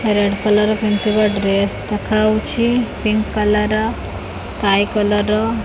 red colour ର ପିନ୍ଧିଥିବା dress ଦେଖାଯାଉଛି ପିଙ୍କ୍ କଲର୍ ର ସ୍କାଏ କଲର୍ ର --